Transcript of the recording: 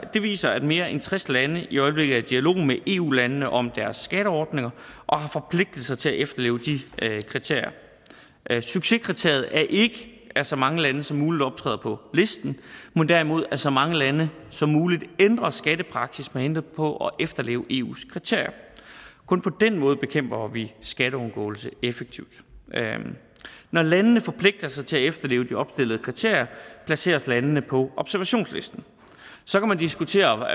den viser at mere end tres lande i øjeblikket er i dialog med eu landene om deres skatteordninger og har forpligtet sig til at efterleve de kriterier succeskriteriet er ikke at så mange lande som muligt optræder på listen men derimod at så mange lande som muligt ændrer skattepraksis med henblik på at efterleve eus kriterier kun på den måde bekæmper vi skatteunddragelse effektivt når landene forpligter sig til at efterleve de opstillede kriterier placeres landene på observationslisten så kan man diskutere